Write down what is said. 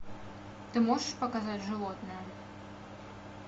ты можешь показать животное